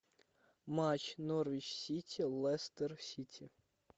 матч норвич сити лестер сити